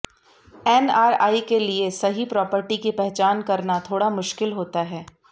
NRI के लिए सही प्रॉपर्टी की पहचान करना थोड़ा मुश्किल होता है